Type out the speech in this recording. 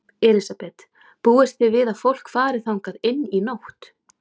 Elísabet: Búist þið við að fólk fari þangað inn í nótt?